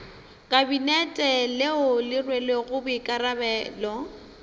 kabinete leo le rwelego boikarabelo